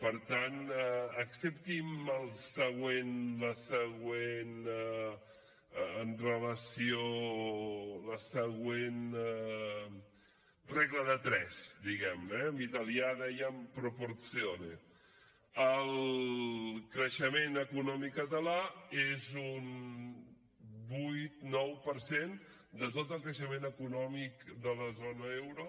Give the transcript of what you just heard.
per tant accepti’m la següent regla de tres diguem ne eh en italià en dèiem proporzione el creixement econòmic català és un vuit nou per cent de tot el creixement econòmic de la zona euro